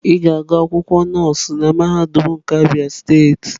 Ị ga-agụ akwụkwọ nọọsụ na mahadum nke Abia steeti.